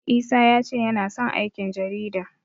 Isa ya ce yana son aikin jarida.